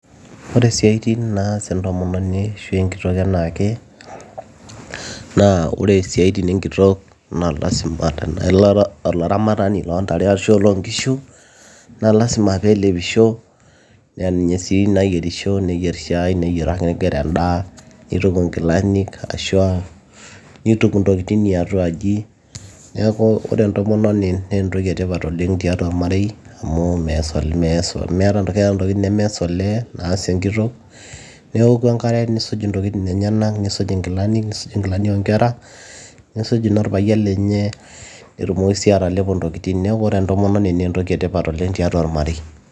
ore isiaitin naas entomononi ashu enkitok enaake naa ore isiaitin enkitok naa lasima tenaa ira olaramatani loontare ashu oloonkishu naa lasima peelepisho naa ninye sii nayierisho neyierr shai neyieraki inkera endaa nituku inkilanik ashua nituku intokitin iatuaji niaku ore entomononi naa entoki etipat oleng tiatua ormarei amu mees, keeta intokitin nemees olee naas enkitok neoku enkare nisuj intokitin enyenak nisuj inkilanik nisuj inkilani oonkera nisuj inorpayian lenye netumoki sii atalepo intokitin neeku ore entomononi naa entoki etipat oleng tiatua ormarei.